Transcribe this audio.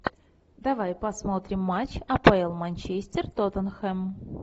давай посмотрим матч апл манчестер тоттенхэм